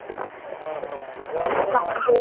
ਹਾਂ ਹਾਂ ਏਹ ਤਾਂ ਆਪਣੇ ਮੰਨ ਬਦਲਦੇ